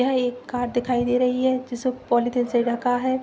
यह एक कार दिखाई दे रही है जिसे पॉलिथीन से ढ़का है।